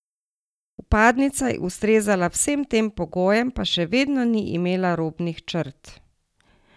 Vpadnica je ustrezala vsem tem pogojem, pa še vedno ni imela robnih črt!